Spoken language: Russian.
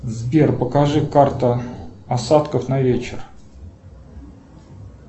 сбер покажи карта осадков на вечер